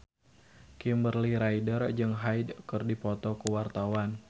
Kimberly Ryder jeung Hyde keur dipoto ku wartawan